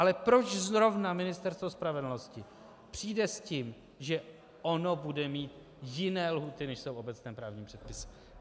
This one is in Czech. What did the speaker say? Ale proč zrovna Ministerstvo spravedlnosti přijde s tím, že ono bude mít jiné lhůty, než jsou v obecném právním předpisu.